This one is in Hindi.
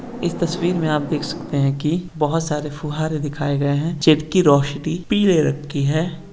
इस तस्वीर में आप देख सकते हैं कि बोहोत सारे फुहारे दिखाई गए हैं जिनकी रोशनी पीले रंग की है।